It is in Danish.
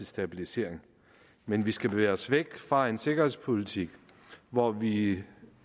stabilisering men vi skal bevæge os væk fra en sikkerhedspolitik hvor vi